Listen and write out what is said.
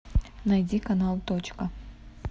найди канал точка